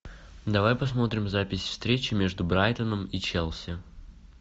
давай посмотрим запись встречи между брайтоном и челси